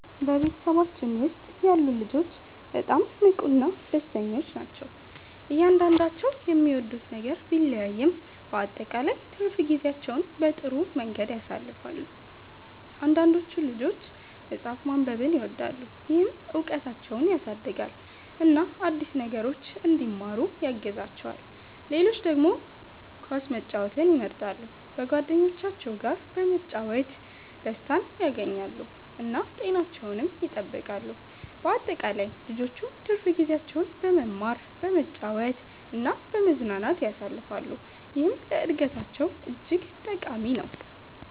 በቤተሰባችን ውስጥ ያሉ ልጆች በጣም ንቁና ደስተኞች ናቸው። እያንዳንዳቸው የሚወዱት ነገር ቢለያይም በአጠቃላይ ትርፍ ጊዜያቸውን በጥሩ መንገድ ያሳልፋሉ። አንዳንዶቹ ልጆች መጽሐፍ ማንበብን ይወዳሉ፣ ይህም እውቀታቸውን ያሳድጋል እና አዲስ ነገሮችን እንዲማሩ ያግዛቸዋል። ሌሎች ደግሞ ኳስ መጫወትን ይመርጣሉ፣ በጓደኞቻቸው ጋር በመጫወት ደስታን ያገኛሉ እና ጤናቸውንም ይጠብቃሉ። በአጠቃላይ ልጆቹ ትርፍ ጊዜያቸውን በመማር፣ በመጫወት እና በመዝናናት ያሳልፋሉ፣ ይህም ለእድገታቸው እጅግ ጠቃሚ ነው።